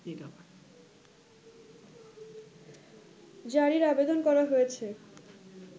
জারির আবেদন করা হয়েছে